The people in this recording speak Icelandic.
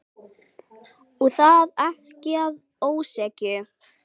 Og það ekki að ósekju.